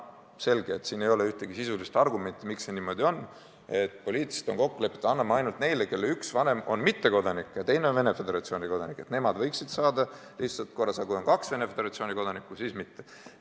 Selge, et siin ei ole ühtegi sisulist argumenti, miks on niimoodi poliitiliselt kokku lepitud, et anname ainult neile, kelle üks vanem on mittekodanik ja teine on Venemaa Föderatsiooni kodanik, et vaid nemad võiksid saada kodakondsuse lihtsustatud korras, aga kui on kaks Venemaa Föderatsiooni kodanikku, siis mitte.